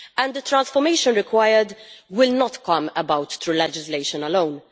The transformation required will not come about through legislation alone.